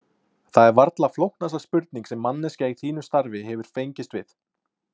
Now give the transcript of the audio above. Það er varla flóknasta spurning sem manneskja í þínu starfi hefur fengist við.